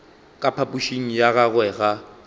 ka phapošing ya gagwe ga